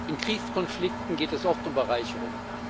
In Kriegskonflikten geht es oft um Bereicherung.